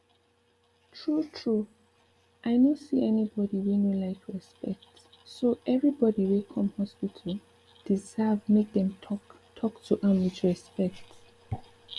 true true i no see anybody wey no like respect so every body way come hospital deserve make dem talk talk to am with respect